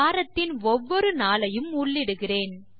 வாரத்தின் ஒவ்வொரு நாளையும் உள்ளிடுகிறேன்